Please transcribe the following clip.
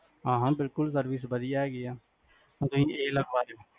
ਹਾਂ ਹਾਂ ਬਿਲਕੁਲ service ਵਦੀਆਂ ਹੈਗੀ ਆ, ਤੁਸੀਂ ਇਹ ਲਗਵਾ ਲਯੋ